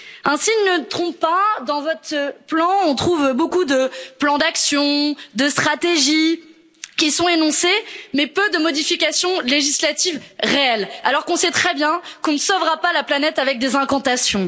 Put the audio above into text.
Un signe ne trompe pas dans votre plan, on trouve beaucoup de plans d'action, de stratégies qui sont énoncés, mais peu de modifications législatives réelles, alors qu'on sait très bien qu'on ne sauvera pas la planète avec des incantations.